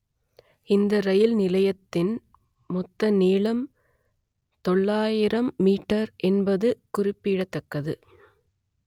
இந்த ரயில் நிலையத்தின் மொத்த நீளம் தொள்ளாயிரம் மீட்டர் என்பது குறிப்பிடத்தக்கது